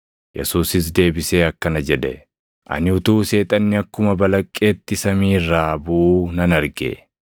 Yesuusis deebisee akkana jedhe; “Ani utuu Seexanni akkuma balaqqeetti samii irraa buʼuu nan arge.